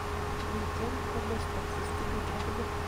miten komosto systemit aginei